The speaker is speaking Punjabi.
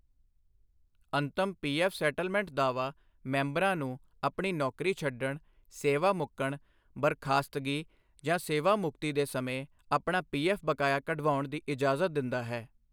ਅੰਤਮ ਪੀਐਫ ਸੇਟਲਮੈਂਟ ਦਾਅਵਾ ਮੈਂਬਰਾਂ ਨੂੰ ਆਪਣੀ ਨੌਕਰੀ ਛੱਡਣ, ਸੇਵਾ ਮੁੱਕਣ, ਬਰਖਾਸਤਗੀ ਜਾਂ ਸੇਵਾ ਮੁਕਤੀ ਦੇ ਸਮੇਂ ਆਪਣਾ ਪੀਐਫ ਬਕਾਇਆ ਕਢਵਾਉਣ ਦੀ ਇਜ਼ਾਜ਼ਤ ਦਿੰਦਾ ਹੈ।